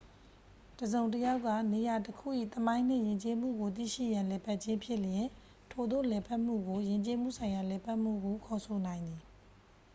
တစ်စုံတစ်ယောက်က နေရာတခု၏ သမိုင်းနှင့်ယဉ်ကျေးမှုကို သိရှိရန်လည်ပတ်ခြင်းဖြစ်လျှင် ထိုသို့လည်ပတ်မှုကို ယဉ်ကျေးမှုဆိုင်ရာ လည်ပတ်မှုဟု ခေါ်ဆိုနိုင်သည်